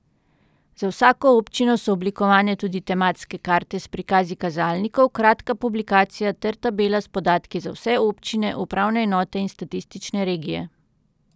Za vsako občino so oblikovane tudi tematske karte s prikazi kazalnikov, kratka publikacija ter tabela s podatki za vse občine, upravne enote in statistične regije.